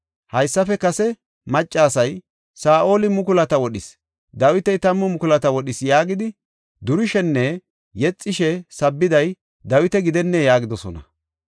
Haysafe kase maccasay, ‘Saa7oli mukulata wodhis; Dawiti tammu mukulata wodhis’ yaagidi durishenne yexishe sabbiday Dawita gidennee?” yaagidosona.